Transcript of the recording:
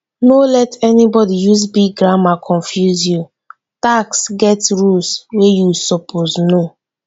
no let anybody use big grammar confuse you tax get rules wey you suppose know.